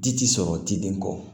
Ji ti sɔrɔ jiden kɔ